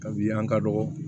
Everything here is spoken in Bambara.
Kabini an ka dɔgɔ